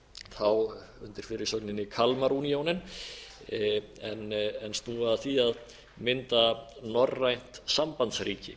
þá undir fyrirsögninni kalmar unionen en snúa að því að mynda norrænt sambandsríki